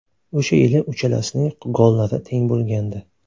O‘sha yili uchalasining gollari teng bo‘lgandi.